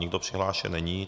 Nikdo přihlášen není.